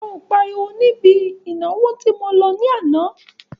Wọn ò páriwo níbi ìnáwó tí mo lọ ní àná.